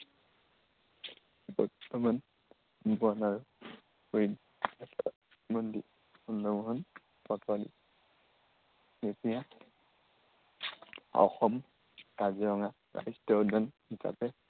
বৰ্তমান বন আৰু পৰিৱেশ চন্দ্ৰমোহন পাটোৱাৰী। কেতিয়া অসম কাজিৰঙা ৰাষ্ট্ৰীয় উদ্য়ান হিচাপে